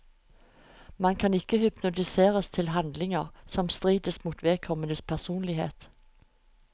Man kan ikke hypnotiseres til handlinger som strider mot vedkommendes personlighet.